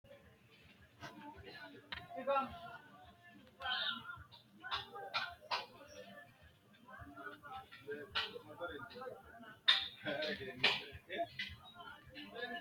Kuni mati yinumoha ikiro batirete yinaniha ikitana iseno kincho woreena loosanote qoleno horose mati yiinumoro cabichishirate woyi xawisrate horo uyiitano